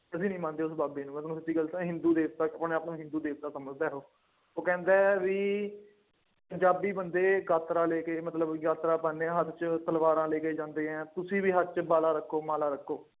ਅਸੀਂ ਨਹੀਂ ਮੰਨਦੇ ਉਸ ਬਾਬੇ ਨੂੰ, ਮੈਂ ਤੁਹਾਨੂੰ ਸਿੱਧੀ ਗੱਲ ਦੱਸਾਂ, ਹਿੰਦੂ ਦੇਵਤਾ, ਉਹ ਨਾ ਆਪਣੇ ਆਪ ਨੂੰ ਹਿੰਦੂ ਦੇਵਤਾ ਸਮਝਦਾ ਉਹ, ਉਹ ਕਹਿੰਦਾ ਹੈ ਬਈ, ਪੰਜਾਬੀ ਬੰਦੇ ਗਾਤਰਾ ਲੈ ਕੇ ਮਤਲਬ, ਗਾਤਰਾ ਪਾਉਂਦੇ ਹਨ ਅਤੇ ਉਹ ਤਲਵਾਰਾਂ ਲੈ ਕੇ ਜਾਂਦੇ ਹੈ, ਤੁਸੀਂ ਵੀ ਹੱਥ ਚ ਬਾਲਾ ਰੱਖੋ, ਮਾਲਾ ਰੱਖੋ।